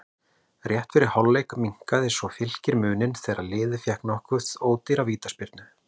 Rétt fyrir hálfleik minnkaði svo Fylkir muninn þegar liðið fékk nokkuð ódýra vítaspyrnu.